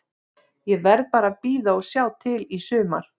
Ég verð bara að bíða og sjá til í sumar.